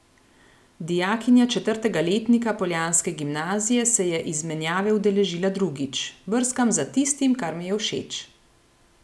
Dijakinja četrtega letnika poljanske gimnazije se je izmenjave udeležila drugič: 'Brskam za tistim, kar mi je všeč.